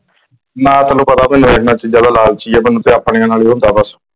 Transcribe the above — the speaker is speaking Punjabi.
ਮੈਂ ਤੈਨੂੰ ਪਤਾ ਇਹ ਇਹਨਾਂ ਚੀਜਾਂ ਦਾ ਲਾਲਚੀ ਹੈ ਤੇ ਆਪਣੇ ਨਾਲ ਹੀ ਹੁੰਦਾ ਆ।